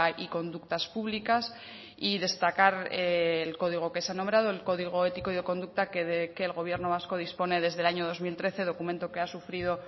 y conductas públicas y destacar el código que se ha nombrado el código ético y de conducta que el gobierno vasco dispone desde el año dos mil trece documento que ha sufrido